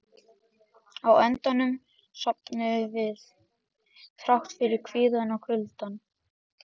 Á endanum sofnuðum við, þrátt fyrir kvíðann og kuldann.